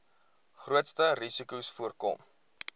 grootste risikos voorkom